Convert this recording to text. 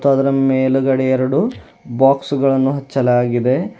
ಅದರ ಮೇಲುಗಡೇ ಎರಡು ಬಾಕ್ಸ್ ಗಳನ್ನು ಹಚ್ಚಲಾಗಿದೆ.